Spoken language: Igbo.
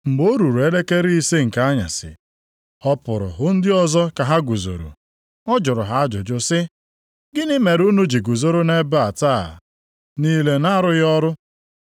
Mgbe o ruru elekere ise nke anyasị, ọ pụrụ hụ ndị ọzọ ka ha guzoro. Ọ jụrụ ha ajụjụ sị, ‘Gịnị mere unu ji guzoro nʼebe a taa niile na-arụghị ọrụ?’